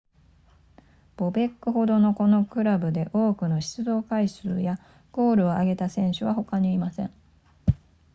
ボベックほどこのクラブで多くの出場回数やゴールを挙げた選手は他にいません